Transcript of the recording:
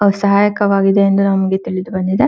ಅವು ಸಹಾಯಕವಾಗಿದೆ ಎಂದು ನಮಗೆ ತಿಳಿದು ಬಂದಿದೆ.